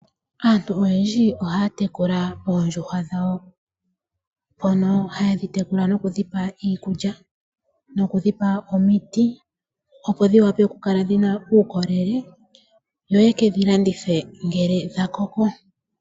Aantu oyendji ohaya tekula oondjuhwa dhawo. Hayedhi tekula nokudhipa iikulya nokudhipa omiti. Opo dhiwape okukala dhina uukolele yo yekedhi landithe ngele dhakoko.